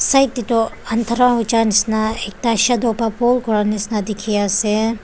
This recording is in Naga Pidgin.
side teto anthera hoijai nishia ekta shato babo kora nishia dekhi ase.